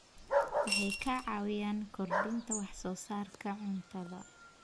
Waxay ka caawiyaan kordhinta wax soo saarka cuntada.